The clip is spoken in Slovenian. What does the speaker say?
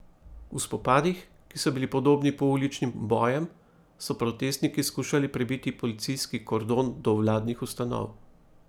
V spopadih, ki so bili podobni pouličnim bojem, so protestniki skušali prebiti policijski kordon do vladnih ustanov.